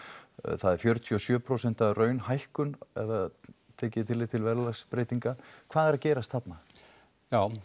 það er fjörutíu og sjö prósent raunhækkun ef tekið er tillit til verðlagsbreytinga hvað er að gerast þarna já